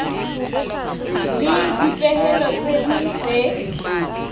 le dipehelo tse ding tse